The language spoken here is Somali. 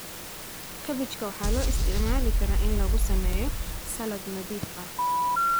Kabbajiga waxaa loo isticmaali karaa in lagu sameeyo saladh nadiif ah.